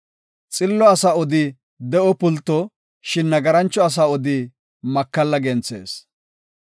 Xillo asa odi de7o pulto; shin nagarancho asa odi makalla genthees.